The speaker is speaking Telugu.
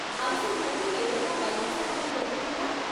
అవసరమైతే ఏవైనా వైద్య సహాయం దొరుకుతుందా?